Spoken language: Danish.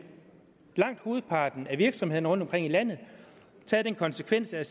langt hovedparten af virksomhederne rundtomkring i landet taget konsekvensen og